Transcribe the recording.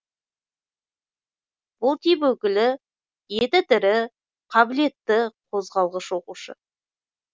бұл тип өкілі еті тірі қабілетті қозғалғыш оқушы